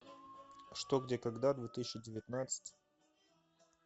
что где когда две тысячи девятнадцать